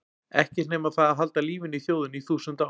Ekkert nema það að halda lífinu í þjóðinni í þúsund ár.